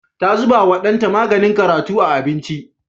Ta zubawa ɗanta maganin karatu a abinci.